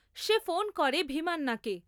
সে phone করে ভীমান্নাকে।